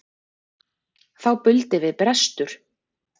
Þá buldi við brestur.